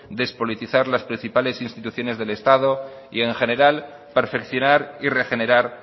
despolitizar las principales instituciones del estado y en general perfeccionar y regenerar